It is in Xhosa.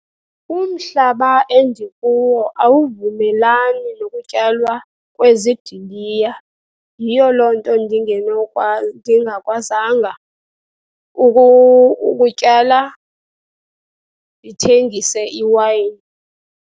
Umhlaba endikuwo awuvumelani nokutyalwa kwezidiliya. Yiyo loo nto ndingakwazanga ukutyala ndithengise iwayini.